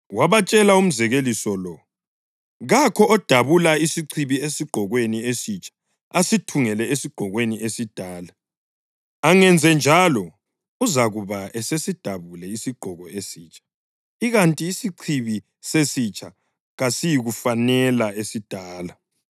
Wabatshela umzekeliso lo: “Kakho odabula isichibi esigqokweni esitsha asithungele esigqokweni esidala. Angenzenjalo, uzakuba esesidabule isigqoko esitsha, ikanti isichibi sesitsha kasiyikufanela esidala.